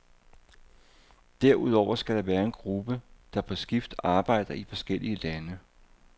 Derudover skal der være en gruppe, der på skift arbejder i forskellige lande.